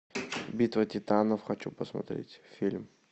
битва титанов хочу посмотреть фильм